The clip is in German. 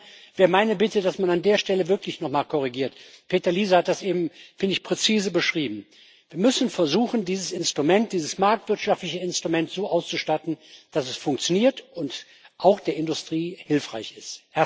Insofern wäre meine Bitte, dass man an der Stelle wirklich nochmal korrigiert. Peter Liese hat das eben präzise beschrieben Wir müssen versuchen, dieses Instrument, dieses marktwirtschaftliche Instrument so auszustatten, dass es funktioniert und auch der Industrie hilfreich ist.